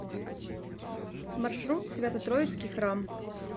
маршрут свято троицкий храм